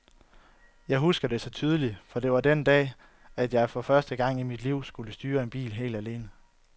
Jeg husker det så tydeligt, for det var den dag, at jeg for første gang i mit liv skulle styre en bil helt alene.